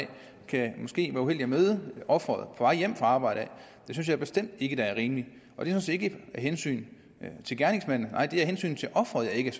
kan måske være uheldig at møde offeret på vej hjem fra arbejde og det synes jeg bestemt ikke er rimeligt det sådan set ikke af hensyn til gerningsmanden nej det er af hensyn til offeret at jeg